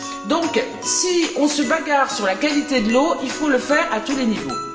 Donc, si on se bagarre sur la qualité de l'eau, il faut le faire à tous les niveaux.